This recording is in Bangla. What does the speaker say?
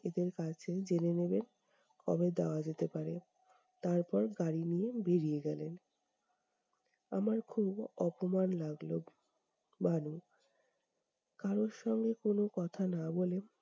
এদের কাছে জেনে নেবেন, কবে দেওয়া যেতে পারে, তারপর গাড়ি নিয়ে বেরিয়ে গেলেন। আমার খুব অপমান লাগলো, ভানু। কারও সঙ্গে কোন কথা না বলে